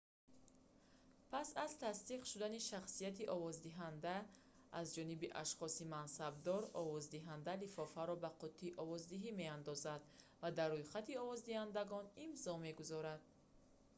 пас аз тасдиқ шудани шахсияти овоздиҳанда аз ҷониби ашхоси мансабдор овоздиҳанда лифофаро ба қуттии овоздиҳӣ меандозад ва дар рӯйхати овоздиҳандагон имзо мегузорад